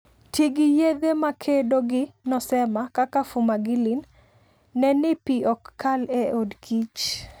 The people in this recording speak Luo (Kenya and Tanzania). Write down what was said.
Ti gi yedhe makedo gi nosema kaka fumagillin. Ne ni pi ok kal e odkich.